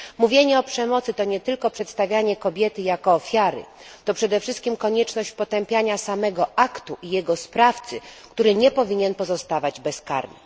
Mówienie o przemocy to nie tylko przedstawianie kobiety jako ofiary, to przede wszystkim konieczność potępiania samego aktu i jego sprawcy, który nie powinien pozostawać bezkarny.